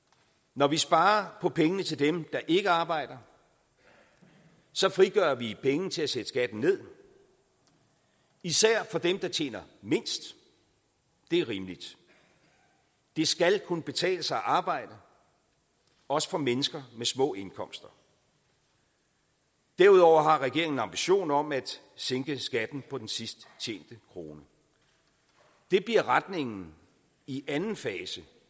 når vi sparer på pengene til dem der ikke arbejder så frigør vi penge til at sætte skatten ned især for dem der tjener mindst det er rimeligt det skal kunne betale sig at arbejde også for mennesker med små indkomster derudover har regeringen en ambition om at sænke skatten på den sidst tjente krone det bliver retningen i anden fase